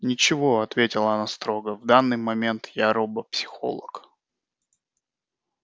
ничего ответила она строго в данный момент я робопсихолог